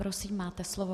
Prosím, máte slovo.